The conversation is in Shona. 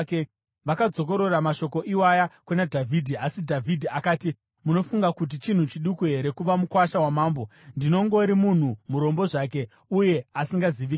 Vakadzokorora mashoko iwaya kuna Dhavhidhi. Asi Dhavhidhi akati, “Munofunga kuti chinhu chiduku here kuva mukuwasha wamambo? Ndinongori munhu murombo zvake uye asingazivikanwi.”